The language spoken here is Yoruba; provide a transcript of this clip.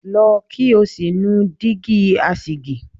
Lọ kí o sì nu Dígí asìjì!